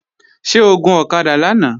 Ṣé o gun ọ̀kadà lánàá?